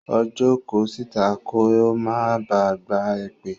Ó jókòó síta kí ó máa ba à gba èpè.